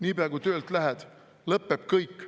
Nii pea, kui töölt lähed, lõpeb kõik.